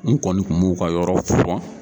N kɔni kun b'u ka yɔrɔ furan